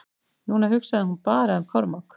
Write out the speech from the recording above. Núna hugsaði hún bara um Kormák.